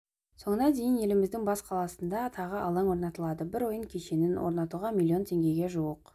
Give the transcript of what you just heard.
соңына дейін еліміздің бас қаласында тағы алаң орнатылады бір ойын кешенін орнытуға миллион теңгеге жуық